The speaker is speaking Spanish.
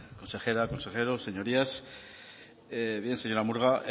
consejera consejeros señorías bien señora murga